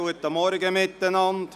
Guten Morgen miteinander.